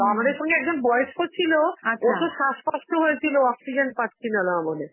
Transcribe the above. আমাদের সঙ্গে একজন বয়স্ক ছিল, ওরতো শ্বাসকষ্ট হয়েছিল oxygen পাছিল না বলে